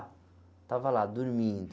Estava lá, dormindo.